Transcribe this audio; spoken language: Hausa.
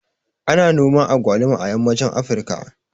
Ana noman agwaluma a yammacin Afrika